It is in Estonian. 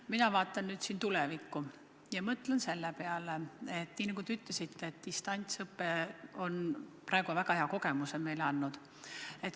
Mina vaatan tulevikku ja mõtlen selle peale, nagu te ütlesite, et distantsõpe on meile väga hea kogemuse andnud.